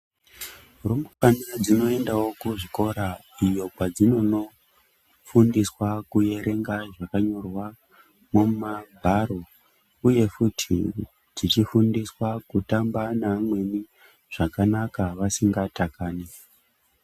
Rumbwana dzinoendawo kuzvikora iyo kwadzinonofundiswa kuerenga zvakanyorwa mumagwaro, uye futi tichifundiswa kutamba neamwe zvakanaka vasingatakani.